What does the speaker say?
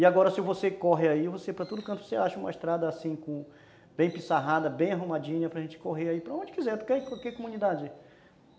E agora, se você corre aí, você, para todo canto, você acha uma estrada assim, com... bem pissarrada, bem arrumadinha, para a gente correr aí para onde quiser, para qualquer comunidade.